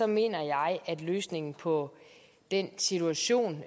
mener jeg at løsningen på den situation